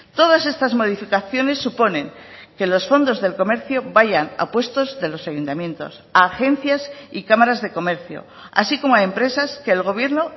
todas estas modificaciones suponen que los fondos del comercio vayan a puestos de los ayuntamientos a agencias y cámaras de comercio así como a empresas que el gobierno